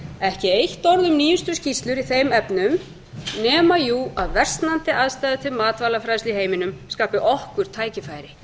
ekki eitt orð um nýjustu skýrslur í þeim efnum nema jú að versnandi aðstæður til matvælafræðslu í heiminum skapi okkur tækifæri